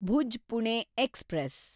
Bhuj Pune express